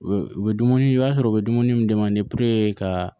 U bɛ dumuni i b'a sɔrɔ u bɛ dumuni min ka